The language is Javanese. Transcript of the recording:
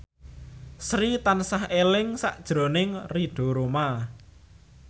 Sri tansah eling sakjroning Ridho Roma